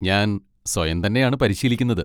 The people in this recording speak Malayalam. ഞാൻ സ്വയം തന്നെയാണ് പരിശീലിക്കുന്നത്.